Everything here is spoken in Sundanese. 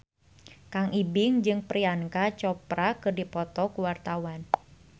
Kang Ibing jeung Priyanka Chopra keur dipoto ku wartawan